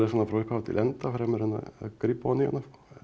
hana frá upphafi til enda fremur en að grípa ofan í hana